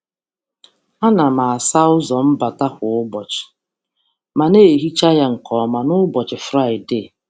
A na m asa ụzọ mbata um kwa ụbọchị, ma um na-emecha ya nke ọma n’ụbọchị Fraịdee.